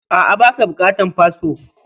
A,a, baka bukatan fasfo